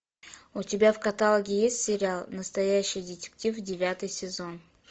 у тебя в каталоге есть сериал настоящий детектив девятый сезон